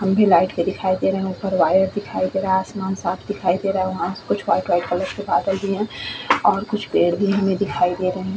खंबे लाइट के दिखाई दे रहे उपर वायर दिखाई दे रहा है आसमान साफ़ दिखाई दे रहा है सब कुछ वाइट वाइट कलर के बादल भी है और कुछ पेड़ भी हमें दिखाई दे रहे है।